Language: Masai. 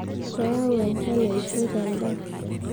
keyau enchan eishoi tendaa